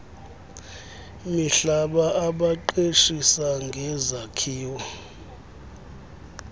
mihlaba abaqeshisa ngezakhiwo